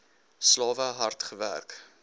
slawe hard gewerk